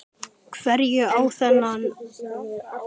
Hverju á ég þennan óvænta heiður að þakka?